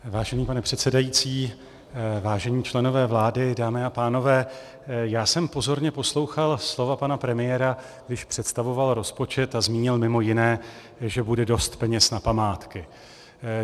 Vážený pane předsedající, vážení členové vlády, dámy a pánové, já jsem pozorně poslouchal slova pana premiéra, když představoval rozpočet a zmínil mimo jiné, že bude dost peněz na památky.